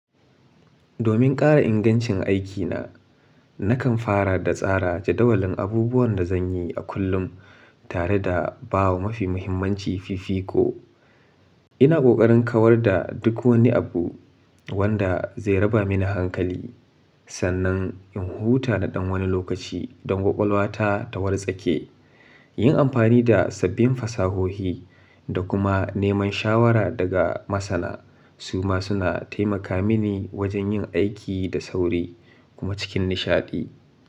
Domin ƙara ingancin aikina, nakan fara da tsara jadawalin abubuwan da zan yi a kullum tare da ba wa mafi muhimmanci fifiko. Ina ƙoƙarin kawar da duk wani abu wanda zai raba mini hankali sannan in huta na ɗan wani lokaci don kwakwalwata ta wartsa ke. Yin amfani da sabbin fasahohi da kuma neman shawara daga masana su ma suna taimaka mini wajen yin aiki da sauri kuma cikin nishaɗi.